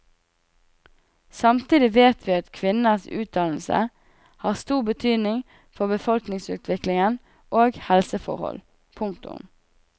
Samtidig vet vi at kvinners utdannelse har stor betydning for befolkningsutvikling og helseforhold. punktum